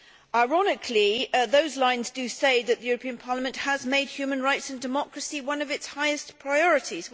Ironically, those lines say that the European Parliament has made human rights and democracy one of its highest priorities.